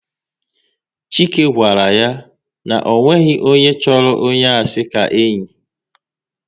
Chike gwara ya na ọ nweghị onye chọrọ onye asị ka enyi